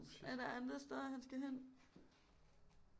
Er der andre steder han skal hen